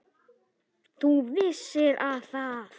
ÞÚ VISSIR AÐ ÞAÐ